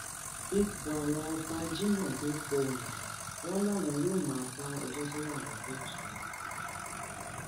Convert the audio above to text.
ipò àwọn ọba ajimobi pohùn dà wọn làwọn yóò máa bá ẹjọ tó wà ní kóòtù lọ